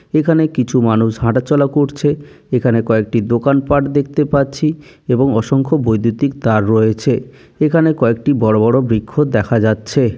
এখানে কিছু মানুষ হাঁটাচলা করছে। এখানে কয়েকটি দোকান পাট দেখতে পাচ্ছি এবং অসংখ্য বৈদ্যুতিক তার রয়েছে। এখানে কয়েকটি বড় বড় বৃক্ষ দেখা যাচ্ছে।